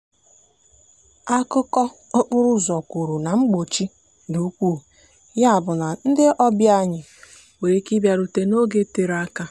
akụkọ okporo ụzọ kwuru na mkpọchi dị ukwuu ya bụ na ndị ọbịa anyị nwere ike ịbịarute n'oge tere aka.